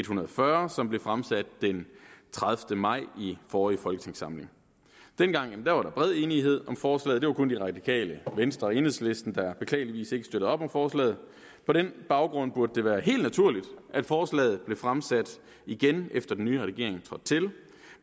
hundrede og fyrre som blev fremsat den tredivete maj i forrige folketingssamling dengang var der bred enighed om forslaget det var kun de radikale venstre og enhedslisten der beklageligvis ikke støttede op om forslaget og på den baggrund burde det være helt naturligt at forslaget blev fremsat igen efter at den nye regering trådte til